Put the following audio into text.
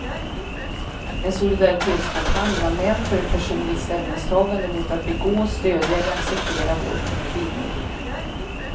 En solidaritetskampanj bland män för ett personligt ställningstagande mot att begå, stödja eller acceptera våld mot kvinnor.